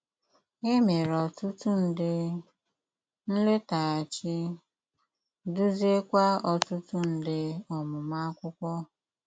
E mere ọtụtụ nde nletaghachi, duziekwa ọtụtụ nde ọmụmụ akwụkwo